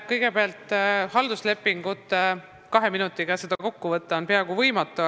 Kõigepealt, halduslepingute teemat on kahe minutiga peaaegu võimatu kokku võtta.